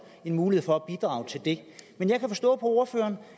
en mulighed for at bidrage til det men jeg kan forstå på ordføreren